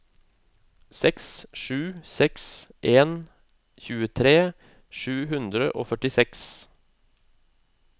seks sju seks en tjuetre sju hundre og førtiseks